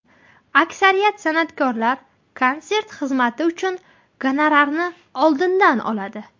Aksariyat san’atkorlar konsert xizmati uchun gonorarni oldindan oladi.